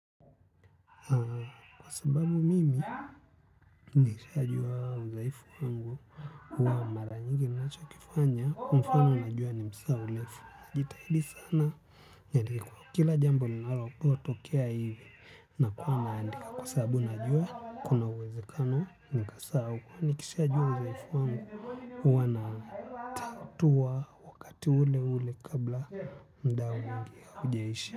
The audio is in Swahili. Kwa sababu mimi nikishajua udhaifu wangu wa mara nyingi ninachokifanya. Mfano najua ni msahaulifu. Najitahidi sana kwa kila jambo linalokotokea hivi. Na kuwa naandika kwa sabu najua kuna uwezekano. Nikasahau huwa nikishajua udhaifu wangu huwa natatua watu ule ule kabla mda mwingi haujaisha.